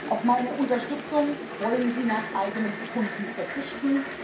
Auf meine Unterstützung wollen Sie nach eigenem Bekunden verzichten.